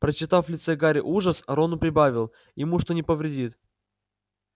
прочитав в лице гарри ужас рон прибавил ему что не повредит